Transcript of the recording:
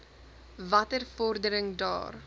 watter vordering daar